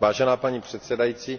Vážená paní předsedající,